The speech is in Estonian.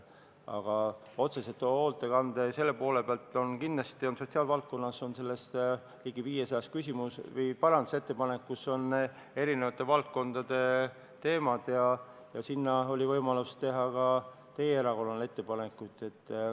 Aga otseselt hoolekande ja selle poole pealt võib öelda, et kindlasti on nendes ligi 500 parandusettepanekus hõlmatud eri valdkondade teemad ja võimalus ettepanekuid teha oli ka teie erakonnal.